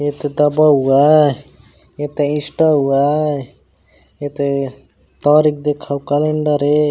एक दबा हुआ हे एक इस्टा हुआ हे एक तारीख देखो कैलेंडर ए--